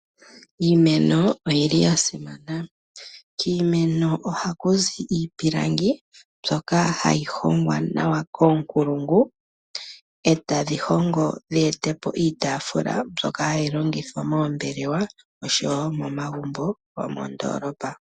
Iimeno oyili yasimana . Kiimeno ohaku zi iipilangi mbyoka hayi hongwa nawa koonkulungu , etadhi hongo dheetepo iitaafula mbyoka hayi longithwa moombelewa oshowoo momagumbo gomoondolopa.